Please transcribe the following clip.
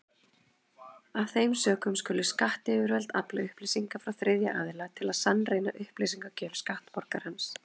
Af þeim sökum skulu skattyfirvöld afla upplýsinga frá þriðja aðila til að sannreyna upplýsingagjöf skattborgarans.